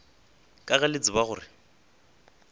ka ge le tseba gore